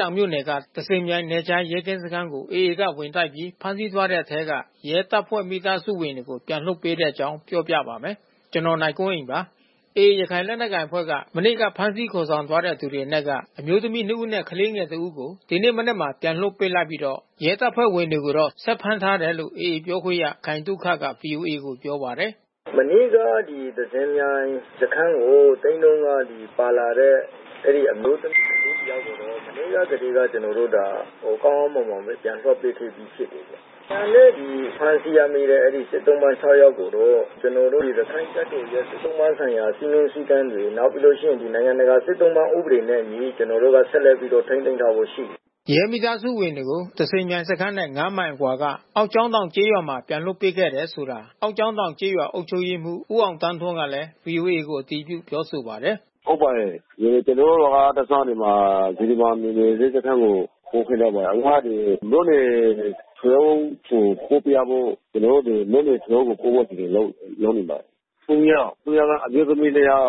တောင်မြို့နယ်က သဇင်မြိုင် နယ်ခြားရဲကင်းစခန်းကို AA က ဝင်တိုက်ပြီး ဖမ်းဆီးသွားတဲ့ထဲက ရဲတပ်ဖွဲ့ မိသားစုဝင်တွေကို ပြန်လွှတ်ပေးလိုက်ပါတယ်။ အပြည့်အစုံကို နိုင်ကွန်းအိန် တင်ပြပေးထားပါတယ်။ AA ရခိုင်လက်နက်ကိုင်အဖွဲ့က မနေ့က ဖမ်းဆီးခေါ်ဆောင်သွားတဲ့ သူတွေအနက်က အမျိုးသမီးနှစ်ဦးနဲ့ ကလေးငယ်တဦးကို ဒီနေ့မနက်မှာ ပြန်လွှတ်ပေးလိုက်ပြီးတော့ ရဲတပ်ဖွဲ့ဝင်တွေကို ဆက်ဖမ်းထားတယ်လို့ AA အဖွဲ့ ပြောခွင့်ရ ခိုင်သုခက ဗွီအိုအေကို ပြောပါတယ်။ “မနေ့က သဇင်မြိုင်စခန်းကို သိမ်းတုန်းက ပါလာတဲ့ အမျိုးသမီး ကလေးတယောက်ကိုတော့ မနေ့ကတည်းက ကျနော်တို့ ကောင်းကောင်းမွန်မွန်ပဲ ပြန်လွှတ်ပေးခဲ့ပြီးဖြစ်တယ်ဗျ။ ကျန်တဲ့ ဒီ ဖမ်းဆီးရမိတဲ့ စစ်သုံ့ပန်း ၆ ယောက်ကိုတော့ ကျနော်တို့ ရခိုင်တပ်တော်ရဲ့ စစ်သုံ့ပန်းဆိုင်ရာ စည်းမျဉ်းစည်းကမ်းတွေ နောက်ပြီးတော့ နိုင်ငံတကာ စစ်သုံ့ပန်းဥပဒေနဲ့အညီ ကျနော်တို့က ဆက်လက်ပြီး ထိန်းသိမ်းထားဆဲပဲရှိတယ်။” ရဲမိသားစုဝင်တွေကို သဇင်မြိုင်စခန်းနဲ့ ၅ မိုင်အကွာက အောက်ကျောင်းတောင်ကျေးရွာမှာ ပြန်လွှတ်ပေးခဲ့တယ်ဆိုတာ အောက်ကျောင်းတောင်ကျေးရွာ အုပ်ချုပ်ရေးမှူး ဦးအောင်သန်းထွန်းကလည်း ဗွီအိုအေကို အတည်ပြု ပြောဆိုပါတယ်။ “ဟုတ်ပါတယ်။ ကျနော်တို့ရွာကတဆင့် ဒီမှာ စေတီပြင်နယ်မြေရဲစခန်းကို ပို့ပေးလိုက်တယ်။ အခုမှ ဒီ မြို့နယ်ထွေအုပ်ဆီ ပို့ပေးရဖို့ ကျနော်တို့ မြို့နယ်ထွေအုပ်ကို ပို့ပေးရဖို့ အစီအစဉ်လုပ်နေတယ်။ ၃ ယောက်။ ၃ ယောက်က အမျိုးသမီးနှစ်ယောက်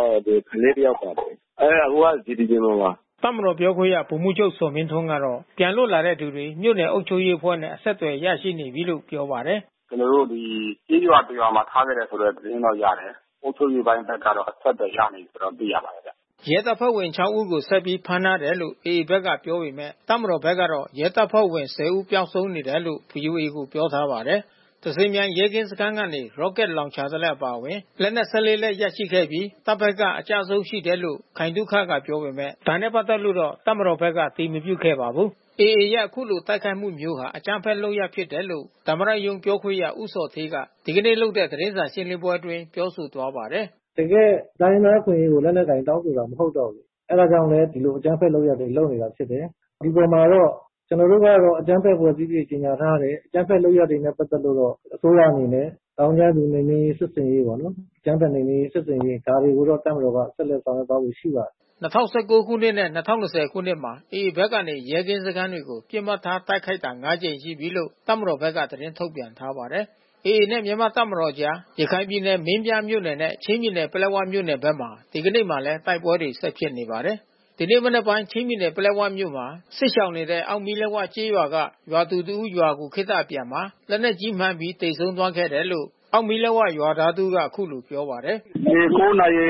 ကလေးတယောက်ပါ။ အဲဒါ အခုက စေတီပြင်မှာပါ။” တပ်မတော်ပြောခွင့်ရ ဗိုလ်မှူးချုုပ် ဇော်မင်းထွန်းကတော့ ပြန်လွတ်လာတဲ့သူတွေ မြို့နယ်အုပ်ချုပ်ရေးအဖွဲ့နဲ့ အဆက်သွယ် ရရှိနေပြီလို့ ပြောပါတယ်။ “ကျနော်တို့ ဒီ ကျေးရွာတရွာမှာ ထားခဲ့တယ်လို့တော့ သတင်းရတယ်။ အုပ်ချုပ်ရေးပိုင်းကတော့ အဆက်သွယ်ရနေပြီလို့ ကျနော်တို့ သိရပါတယ်ဗျ။” ရဲတပ်ဖွဲ့ဝင် ၆ ဦးကို ဆက်ပြီး ဖမ်းထားတယ်လို့ AA ဘက်က ပြောပေမယ့် တပ်မတော်ဘက်ကတော့ ရဲတပ်ဖွဲ့ဝင် ၁၀ ဦး ပျောက်ဆုံးနေတယ်လို့ ဗွီအိုအေကို ပြောထားပါတယ်။ သဇင်မြိုင် ရဲကင်းစခန်းကနေ ရော့ကက်လောင်ချာတလက် အပါအဝင် လက်နက် ၁၄ လက် ရခဲ့ပြီး တပ်ဘက်က အကျအဆုံးရှိတယ်လို့ ခိုင်သုခက ပြောပေမယ့် ဒါနဲ့ပတ်သက်လို့ တပ်မတော်ဘက်က အတည်မပြုခဲ့ပါဘူး။ AA ရဲ့ အခုလိုတိုက်ခိုက်မှုမျိုးဟာ အကြမ်းဖက်လုပ်ရပ် ဖြစ်တယ်လို့ သမ္မတရုံး ပြောခွင့်ရ ဦးဇော်ဌေးက ဒီနေ့လုပ်တဲ့ သတင်းစာရှင်းလင်းပွဲအတွင်း ပြောသွားပါတယ်။ “တကယ့် တိုင်းရင်းသားအခွင့်အရေးတွေ လက်နက်ကိုင် တောင်းဆိုတာ မဟုတ်တော့ဘူး။ အဲဒါကြောင့်လည်း ဒီလို အကြမ်းဖက်လုပ်ရပ်တွေ လုပ်နေတာဖြစ်တယ်။ ဒီအပေါ်မှာတော့ ကျနော်တို့ကတော့ အကြမ်းဖက်အဖွဲ့အစည်းအဖြစ် ကြေညာထားတယ်။ အကြမ်းဖက်လုပ်ရပ်တွေနဲ့ ပတ်သက်လို့တော့ အစိုးရအနေနဲ့ သောင်းကျန်းသူနှိမ်နင်းရေး စစ်ဆင်ရေးပေါ့နော်။ အကြမ်းဖက်နှိမ်နင်းရေး စစ်ဆင်ရေး ဒါတွေကိုတော့ တပ်မတော်က ဆက်လက်ဆောင်ရွက်သွားဖို့ ရှိပါတယ်။” ၂၀၁၉ ခုနှစ်နဲ့ ၂၀၂၀ ခုနှစ်မှာ AA ဘက်ကနေ ရဲကင်းစခန်းတွေကို ပစ်မှတ်ထား တိုက်ခိုက်ခဲ့တာ ၅ ကြိမ်ရှိပြီလို့ တပ်မတော်ဘက်က သတင်းထုတ်ပြန်ထားပါတယ်။ AA နဲ့ မြန်မာ့တပ်မတော်ကြား ရခိုင်ပြည်နယ် မင်းပြားမြို့နယ်နဲ့ ချင်းပြည်နယ် ပလက်ဝမြို့နယ်ဘက်မှာ ဒီနေ့မှာလည်း တိုက်ပွဲတွေ ဆက်ဖြစ်နေပါတယ်။ ဒီနေ့မနက်ပိုင်းမှာ ချင်းပြည်နယ် ပလက်ဝမြို့မှာ စစ်ရှောင်နေတဲ့ အောက်မီးလက်ဝကျေးရွာက ရွာသူတဦး ရွာကို ခေတ္တအပြန်မှာ လက်နက်ကြီးမှန်ပြီး သေဆုံးသွားခဲ့တယ်လို့ အောက်မီးလက်ဝကျေးရွာသား တဦးက အခုလို ပြောပါတယ်။ “ဒီ ၉ နာရီ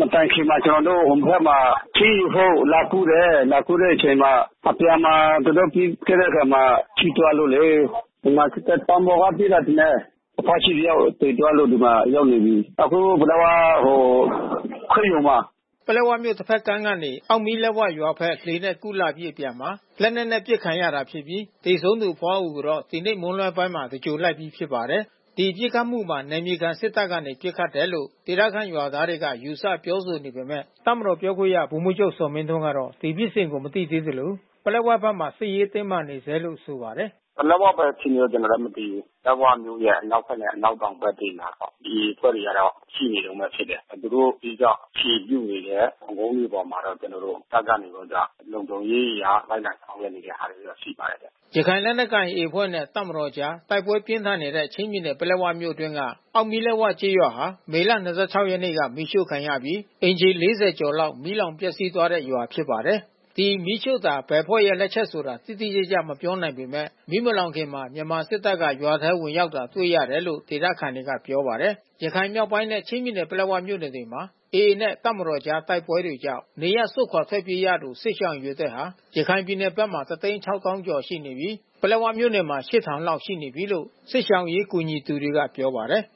မတိုင်ခင်မှာ ကျနော်တို့ ဟိုဘက်မှာ ထင်းယူဖို့ လာကူးတယ်။ လာကူးတဲ့အချိန်မှာ အပြန်မှာ လက်နက်ကြီး ပစ်တဲ့အခါမှာ ထိသွားလို့လေ။ ဗမာစစ်တပ် တောင်ပေါ်ကပစ်တာထင်တယ်။ အဘွားကြီးတယောက် သေသွားလို့ ဒီမှာရောက်နေပြီ။ အခု ပလက်၀ ရင်ခွဲရုံမှာ။” ပလက်ဝမြို့ တဖက်ကမ်းကနေ အောက်မီးလက်ဝရွာဘက် လှေနဲ့ကူးလာပြီး အပြန်မှာ လက်နက်နဲ့ ပစ်ခံရတာဖြစ်ပြီး သေဆုံးသူအဘွားအိုကိုတော့ ဒီနေ့မွန်းလွဲပိုင်းမှာ သဂြုႋဟ်လိုက်ပြီး ဖြစ်ပါတယ်။ ဒီပစ်ခတ်မှုမှာ နယ်မြေခံစစ်တပ်ကနေ ပစ်ခတ်တယ်လို့ ဒေသခံရွာသားတွေက ယူဆပြောဆိုနေပေမယ့် တပ်မတော် ပြောခွင့်ရ ဗိုလ်မှူးချုပ် ဇော်မင်းထွန်းကတော့ ဒီဖြစ်စဉ်ကို မသိသေးသလို ပလက်ဝဘက်မှာ စစ်ရေးတင်းမာနေဆဲလို့ ဆိုပါတယ်။ “ပလက်ဝဘက် အခြေအနေ ကျနော်လည်း မသိဘူး။ ပလက်ဝမြို့ရဲ့ အနောက်ဘက်နဲ့ အနောက်တောင်ဘက်တွေမှာတော့ AA အဖွဲ့တွေတော့ ရှိနေတုန်းပဲဖြစ်တယ်။ သူတို့ အဓိက အခြေပြုနေတဲ့ တောင်ကုန်းတွေပေါ်မှာတော့ ကျနော်တို့ တပ်ကနေပြီးတော့ လုံခြုံရေးအရ လိုက်လံဆောင်ရွက်နေတဲ့ဟာတော့ ရှိပါတယ်။” ဒီမီးရှို့တာ ဘယ်အဖွဲ့ရဲ့လက်ချက်လို့ တိတိကျကျ မပြောနိုင်ပေမယ့် မီးမလောင်ခင်မှာ မြန်မာစစ်တပ်က ရွာထဲဝင်ရောက်တာ တွေ့ရတယ်လို့ ဒေသခံတွေက ပြောပါတယ်။ ရခိုင်မြောက်ပိုင်းနဲ့ ချင်းပြည်နယ်၊ ပလက်ဝမြို့နယ်ဘက်တွေမှာ AA နဲ့ တပ်မတော်ကြား တိုက်ပွဲတွေကြောင့် နေရပ်စွန့်ခွာ ထွက်ပြေးရသူ စစ်ရှောင်အရေအတွက်ဟာ ရခိုင်ပြည်နယ်ဘက်မှာ ၁၆၀,၀၀၀ ကျော်ရှိနေပြီး ပလက်ဝမြို့နယ်မှာ ၈၀၀၀ လောက်ရှိနေပြီလို့ စစ်ရှောင်အရေး ကူညီသူတွေက ပြောပါတယ်။